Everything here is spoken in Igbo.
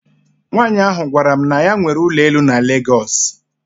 Nwanyị ahụ gwara m na ya nwere ụlọ elu na Lagos.